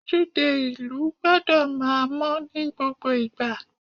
Ojúde ìlú gbọ́dọ̀ máa mọ́ ní gbogbo ìgbà.